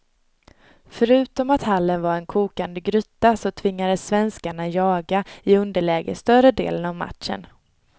Förutom att hallen var en kokande gryta så tvingades svenskarna jaga i underläge större delen av matchen.